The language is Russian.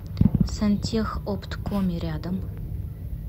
сантехопткоми рядом